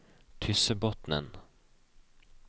Tyssebotnen